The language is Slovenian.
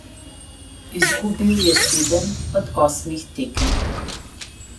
Izgubil je sedem od osmih tekem.